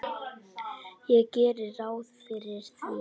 Ég geri ráð fyrir því.